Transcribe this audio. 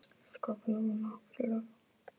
Hann hefur auðvitað sínar góðu hliðar.